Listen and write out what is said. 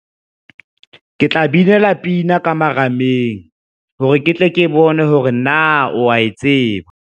Ke tla binela pina ka marameng hore ke tle ke bone hore na o a e tseba.